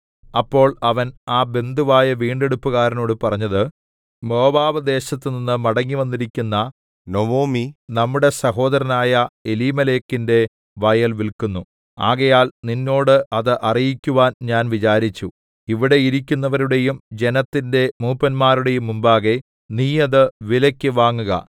അപ്പോൾ അവൻ ആ ബന്ധുവായ വീണ്ടെടുപ്പുകാരനോട് പറഞ്ഞത് മോവാബ് ദേശത്തു നിന്നു മടങ്ങിവന്നിരിക്കുന്ന നൊവൊമി നമ്മുടെ സഹോദരനായ എലീമേലെക്കിന്റെ വയൽ വില്ക്കുന്നു ആകയാൽ നിന്നോട് അത് അറിയിക്കുവാൻ ഞാൻ വിചാരിച്ചു ഇവിടെ ഇരിക്കുന്നവരുടെയും ജനത്തിന്റെ മൂപ്പന്മാരുടെയും മുമ്പാകെ നീ അത് വിലെക്കു വാങ്ങുക